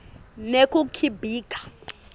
nekukhibika